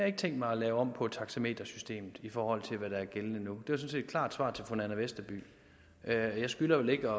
ikke tænkt mig at lave om på taxametersystemet i forhold til hvad der er gældende nu det var sådan set et klart svar til fru nanna westerby og jeg skylder vel ikke